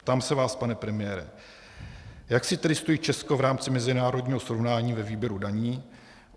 Ptám se vás, pane premiére, jak si tedy stojí Česko v rámci mezinárodního srovnání ve výběru daní.